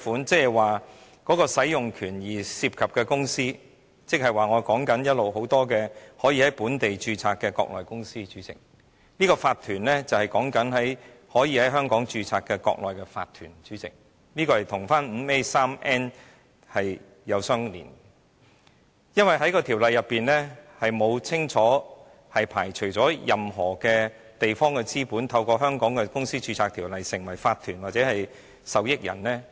主席，使用權涉及的公司，亦即我一直多次提及可以在本地註冊的國內公司，這個法團是指可以在香港註冊的國內的法團，這與第 151n 條相聯繫，因為《條例草案》並沒有清楚排除任何地方的資本透過香港《公司條例》，註冊成為法團或受益人。